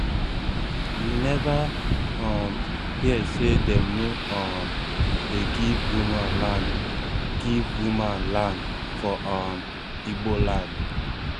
you neva um hear sey dem no um dey give woman land give woman land for um igbo land